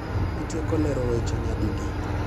Itieko lero weche nya didi